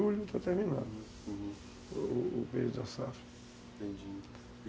Julho, está terminando, uhum, o período da safra, entendi.